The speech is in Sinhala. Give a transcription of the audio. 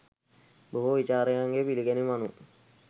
බොහෝ විචාරකයන්ගේ පිළිගැනීම අනුව,